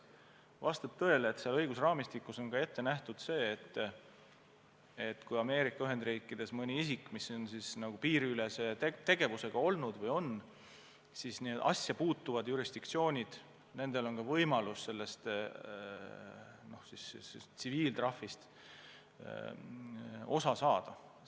Vastab tõele, et seal on ka ette nähtud, et kui Ameerika Ühendriikides mõni isik on tegelenud piiriülese tegevusega nii, et asjasse puutub jurisdiktsioon, siis nendel on ka võimalus sellest tsiviiltrahvist osa saada.